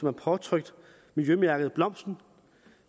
er påtrykt miljømærket blomsten